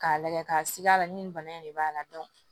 K'a lagɛ ka sig'a la ni nin bana in de b'a la